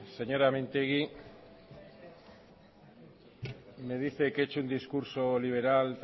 señora mintegi me dice que he hecho un discurso liberal